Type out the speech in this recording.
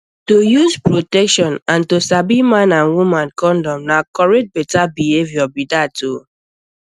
to use protection and to sabi man and woman condom na correct better behavior be that o